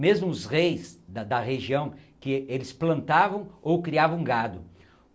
Mesmo os reis da da região que eles plantavam ou criavam gado.